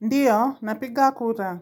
Ndiyo, napiga kura.